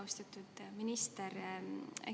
Austatud minister!